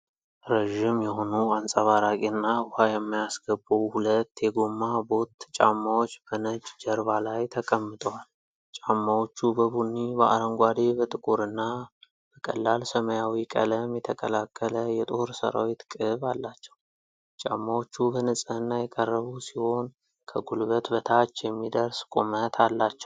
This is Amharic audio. ረዥም የሆኑ አንጸባራቂና ውሃ የማያስገቡ ሁለት የጎማ ቦት ጫማዎች በነጭ ጀርባ ላይ ተቀምጠዋል። ጫማዎቹ በቡኒ፣ በአረንጓዴ፣ በጥቁር እና በቀላል ሰማያዊ ቀለም የተቀላቀለ የጦር ሠራዊት ቅብ አላቸው። ጫማዎቹ በንጽህና የቀረቡ ሲሆን፤ ከጉልበት በታች የሚደርስ ቁመት አላቸው።